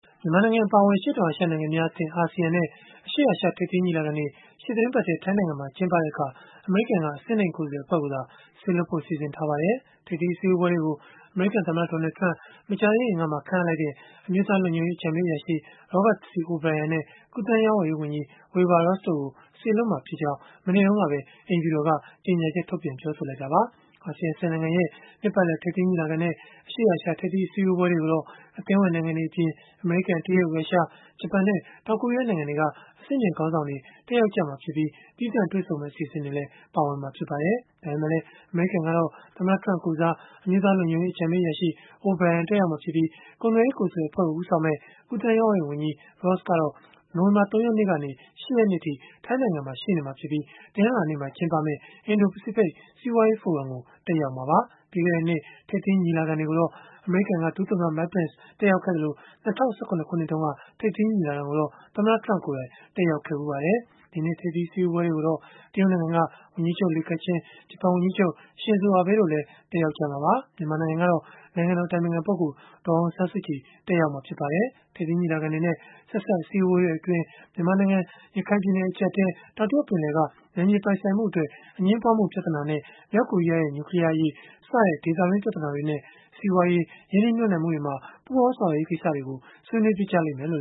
မြန်မာနိုင်ငံ အပါအဝင် အရှေ့တောင်အာရှ နိုင်ငံများအသင်း (Asean) နဲ့ အရှေ့အာရှ ထိပ်သီးညီလာခံတွေ ရှေ့သီတင်းပတ်ထဲ ထိုင်းနိုင်ငံမှာ ကျင်းပတဲ့အခါ အမေရိကန်က အဆင့်နိမ့် ကိုယ်စားလှယ်အဖွဲ့ကိုသာ စေလွှတ်ဖို့ စီစဉ်ထားပါတယ်။ ထိပ်သီးအစည်းအဝေးပွဲတွေကို အမေရိကန် သမ္မတ Donald Trump မကြာသေးခင်ကမှ ခန့်အပ်လိုက်တဲ့ အမျိုးသားလုံခြုံရေး အကြံပေးအရာရှိ Robert C. O'Brien နဲ့ ကူးသန်းရောင်းဝယ်ရေးဝန်ကြီး Wilbur Ross တို့ကို စေလွှတ်မှာဖြစ်ကြောင်း မနေ့တုန်းကပဲ အိမ်ဖြူတော်က ကြေညာချက်ခဲ့တာပါ။ Asean ၁၀ နိုင်ငံရဲ့ နှစ်ပတ်လည် ထိပ်သီးညီလာခံနဲ့ အရှေ့အာရှ ထိပ်သီး အစည်းအဝေးပွဲတွေ ကိုတော့ အသင်းဝင် နိုင်ငံတွေအပြင် အမေရိကန်၊ တရုတ်၊ ရုရှား၊ ဂျပန်နဲ့ တောင်ကိုရီးယား နိုင်ငံတွေက အဆင့်မြင့်ခေါင်းဆောင်တွေ တက်ရောက်ကြမှာဖြစ်ပြီး၊ သီးသန့်တွေ့ဆုံမယ့် အစီအစဉ်တွေလည်း ပါဝင်မှာ ဖြစ်ပါတယ်။ ဒါပေမဲ့လည်း အမေရိကန်ကတော့ သမ္မတ Trump ကိုယ်စား အမျိုးသားလုံခြုံရေး အကြံပေးအရာရှိ O'Brien တက်ရောက်မှာဖြစ်ပြီး၊ ကုန်သွယ်ရေး ကိုယ်စားလှယ် အဖွဲ့ကို ဦးဆောင်မယ့် ကူးသန်းရောင်းဝယ်ရေးဝန်ကြီး Ross ကတော့ နိုဝင်ဘာ ၃ ရက်နေ့ကနေ ၈ ရက်နေ့အထိ ထိုင်းနိုင်ငံမှာ ရှိနေမှာဖြစ်ပြီး တနင်္လာနေ့မှာ ကျင်းပမယ့် အင်ဒို-ပစိဖိတ် စီးပွားရေးဖိုရမ်ကို တက်ရောက်မှာပါ။ ပြီးခဲ့တဲ့နှစ် ထိပ်သီးညီလာခံတွေကိုတော့ အမေရိကန်က ဒုသမ္မတ Mike Pence တက်ရောက်ခဲ့သလို၊ ၂၀၁၇ ခုနှစ်တုန်းက ထိပ်သီးညီလာခံကိုတော့ သမ္မတ Trump ကိုယ်တိုင် တက်ရောက်ခဲ့ဖူးပါတယ်။ ဒီနှစ် ထိပ်သီးအစည်းအဝေးပွဲတွေကိုတော့ တရုတ်နိုင်ငံက ဝန်ကြီးချုပ် Li Keqiang ဂျပန်ဝန်ကြီးချုပ် Shinzo Abe တို့လည်း တက်ရောက်ကြမှာပါ။ မြန်မာနိုင်ငံကတော့ နိုင်ငံတော် အတိုင်ပင်ခံပုဂ္ဂိုလ် ဒေါ်အောင်ဆန်းစုကြည် တက်ရောက်မှာ ဖြစ်ပါတယ်။ ထိပ်သီး ညီလာခံတွေနဲ့ ဆက်စပ်အစည်းအဝေးပွဲတွေအတွင်း မြန်မာနိုင်ငံ ရခိုင်ပြည်နယ် အကျပ်အတည်း၊ တောင်တရုတ်ပင်လယ်က နယ်မြေပိုင်ဆိုင်မှုအတွက် အငြင်းပွားမှု ပြဿနာနဲ့ မြောက်ကိုရီးယားရဲ့ နျူကလီးယားအရေး စတဲ့ ဒေသတွင်း ပြဿနာတွေနဲ့ စီးပွားရေး၊ ရင်းနှီးမြှုပ်နှံမှုတွေမှာ ပူးပေါင်းဆောင်ရွက်ရေး ကိစ္စတွေကိုလည်း ဆွေးနွေးဖြစ်လိမ့်မယ်လို့